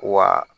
Wa